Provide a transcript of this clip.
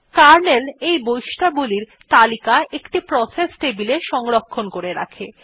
kernel এই বৈশিষ্ট্যাবলীর তালিকা একটি প্রসেস টেবিলে সংরক্ষণ করে রাখে